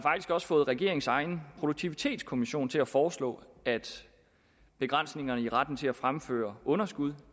også fået regeringens egen produktivitetskommission til at foreslå at begrænsningerne i retten til at fremføre underskud